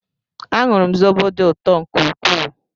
Añụru m zobo dị ụtọ nke ukwuu